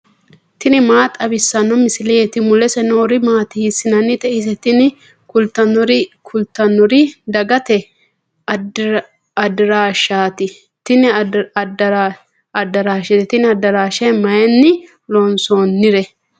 tini maa xawissanno misileeti ? mulese noori maati ? hiissinannite ise ? tini kultannori dagate addaraasheeti. tini addaraashe mayiinni loonsoonnire?